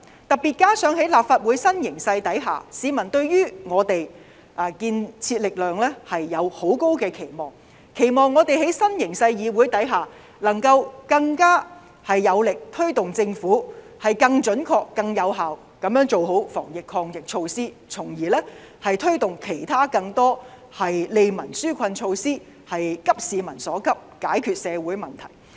特別是加上在立法會的新形勢下，市民對於我們這股建設力量有很高的期望，期望我們在新形勢的議會下能夠更有力推動政府更準確和更有效地做好防疫抗疫措施，從而推動其他更多利民紓困措施，急市民所急，解決社會問題。